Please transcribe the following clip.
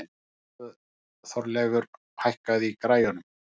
Þorleifur, hækkaðu í græjunum.